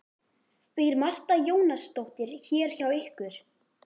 Býr Marta Jónasdóttir hér hjá ykkur?